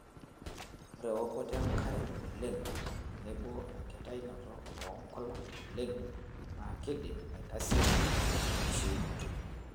Ore ewokoto enkare oleng' tenebo enkitainoto oonkulak oleng' naa keidim aitasieku enkishiunoto.